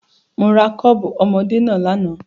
Mo ra kọ́ọ̀bù ọmọdé náà lánàá.